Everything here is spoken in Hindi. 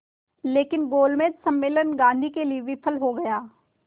लेकिन गोलमेज सम्मेलन गांधी के लिए विफल हो गया